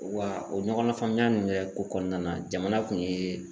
Wa o ɲɔgɔn na faamuya nin kɔnɔna na, jamana kun ye